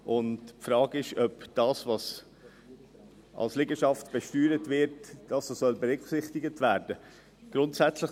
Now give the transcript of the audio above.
Die Frage ist, ob das, was als Liegenschaft besteuert wird, berücksichtigt werden soll.